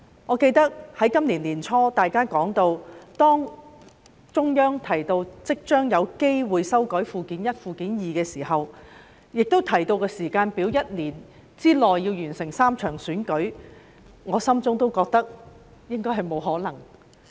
我記得在今年年初，當中央提到即將有機會修改《基本法》附件一和附件二，並提到時間表是要在1年內完成3場選舉的時候，我內心也認為應該不可能。